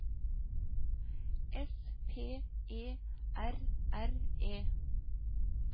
S P E R R E